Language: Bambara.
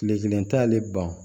Kile kelen t'ale ban